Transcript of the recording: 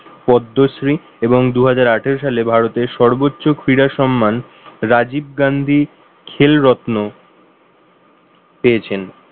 পদ্মশ্রী এবং দুহাজার আঠারো সালে ভারতের সর্বোচ্চ ক্রিয়া সম্মান রাজীব গান্ধী খিল রত্ন পেয়েছেন